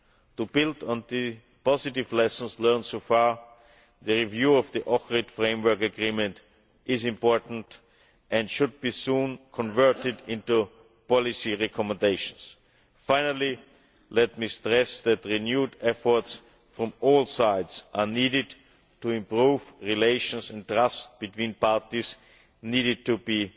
To build on the positive lessons learned so far, the review of the Ohrid Framework Agreement is important and should be soon converted into policy recommendations. Finally, let me stress that renewed efforts from all sides are needed to improve relations and trust between parties, and these need to